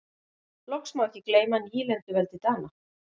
loks má ekki gleyma nýlenduveldi dana